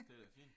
Det er da fint